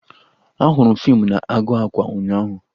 Ahụrụ m fiimu na-agụ akwa ụnyaahụ